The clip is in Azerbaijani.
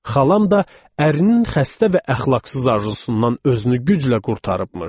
Xalam da ərinin xəstə və əxlaqsız arzusundan özünü güclə qurtarıbmış.